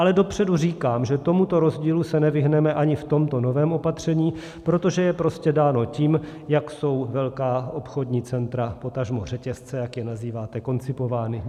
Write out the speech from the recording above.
Ale dopředu říkám, že tomuto rozdílu se nevyhneme ani v tomto novém opatření, protože je prostě dán tím, jak jsou velká obchodní centra, potažmo řetězce, jak je nazýváte, koncipovány.